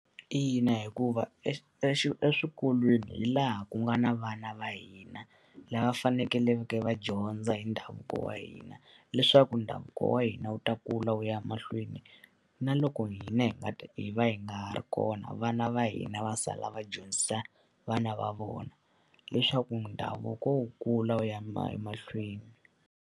Ina, hikuva eswikolweni hi laha ku nga na vana va hina, lava faneleke va dyondza hi ndhavuko wa hina. Leswaku ndhavuko wa hina wu ta kula wu ya mahlweni na loko hina hi nga hi va hi nga ha ri kona vana va hina va sala va dyondzisa vana va vona, leswaku ndhavuko wu kula wu ya emahlweni.